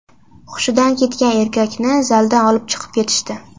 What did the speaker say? Hushidan ketgan erkakni zaldan olib chiqib ketishdi.